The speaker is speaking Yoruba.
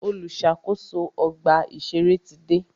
Olùṣàkóso ọgbà ìṣẹ̀rẹ́ ti dé.